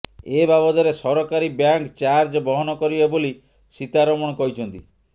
ଏ ବାବଦରେ ସରକାରୀ bank charge ବହନ କରିବେ ବୋଲି ସୀତାରମଣ କହିଛନ୍ତି